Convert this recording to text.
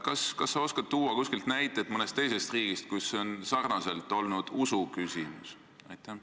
Kas sa oskad tuua näiteid mõnest teisest riigist, kus see on samuti olnud pigem usu küsimus?